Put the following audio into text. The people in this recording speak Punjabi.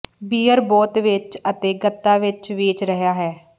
ਬੀਅਰ ਬੋਤ ਵਿੱਚ ਅਤੇ ਗੱਤਾ ਵਿੱਚ ਵੇਚ ਰਿਹਾ ਹੈ